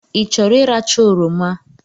I chọrọ ị racha oroma?